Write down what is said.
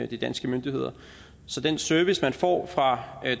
de danske myndigheder så den service man får fra